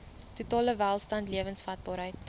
totale welstand lewensvatbaarheid